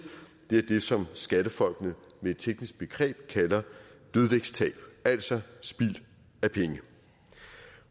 det er det som skattefolkene med et teknisk begreb kalder dødvægtstab altså spild af penge